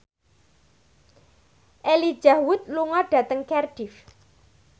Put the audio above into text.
Elijah Wood lunga dhateng Cardiff